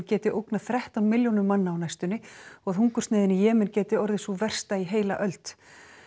geti ógnað þrettán milljónum manna á næstunni og að hungursneyðin í Jemen geti orðið sú versta í heila öld